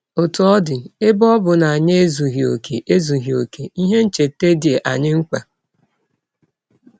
Ọtụ ọ dị, ebe ọ bụ na anyị ezughị ọkè, ezughị ọkè, ihe ncheta dị anyị mkpa.